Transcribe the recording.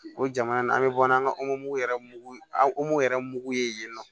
O jamana an bɛ bɔ n'an ka yɛrɛ mugu an yɛrɛ mugu ye yen nɔ